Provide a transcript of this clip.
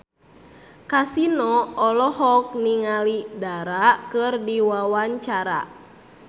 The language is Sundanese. Kasino olohok ningali Dara keur diwawancara